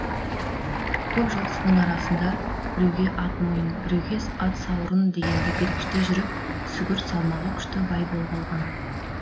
көп жылқысының арасында біреуге ат мойын біреуге ат сауырын дегенді бергіштей жүріп сүгір салмағы күшті бай боп алған